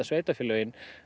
sveitarfélögin